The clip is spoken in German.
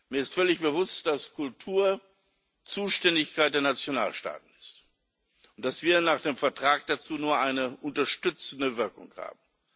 Mir ist völlig bewusst, dass Kultur Zuständigkeit der Nationalstaaten ist und dass wir nach dem Vertrag dazu nur eine unterstützende Wirkung haben.